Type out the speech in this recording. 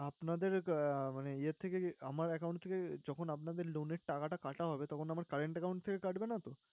আপনাদের মানে ইয়ে থেকে আমার account থেকে যখন আপনাদের loan এর টাকাটা কাটা হবে তখন আমার current account থেকে কাটবে নাতো?